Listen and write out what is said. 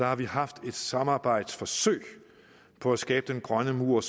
har vi haft et samarbejdsforsøg på at skabe den grønne mur